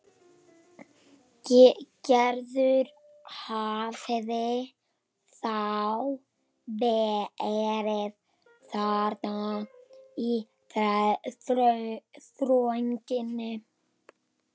Gerður hafði þá verið þarna í þrönginni.